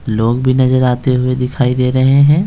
लोग भी नजर आते हुए दिखाई दे रहे हैं।